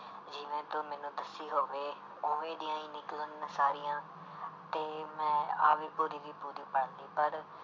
ਜਿਵੇਂ ਤੂੰ ਮੈਨੂੰ ਦੱਸੀ ਹੋਵੇ ਉਵੇਂ ਦੀਆਂ ਹੀ ਨਿਕਲਣ ਸਾਰੀਆਂ ਤੇ ਮੈਂ ਆਹ ਵੀ ਪੂਰੀ ਦੀ ਪੂਰੀ ਪੜ੍ਹ ਲਈ ਪਰ